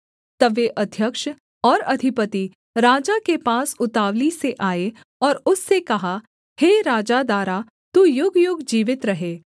तब वे अध्यक्ष और अधिपति राजा के पास उतावली से आए और उससे कहा हे राजा दारा तू युगयुग जीवित रहे